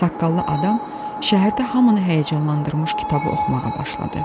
Saqqallı adam şəhərdə hamını həyəcanlandırmış kitabı oxumağa başladı.